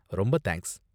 ரொம்ப தேங்க்ஸ்!